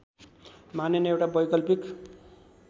मानिने एउटा वैकल्पिक